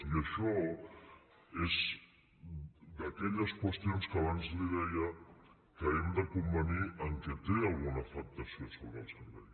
i això és d’aquelles qüestions que abans li deia que hem de convenir que tenen alguna afectació sobre el servei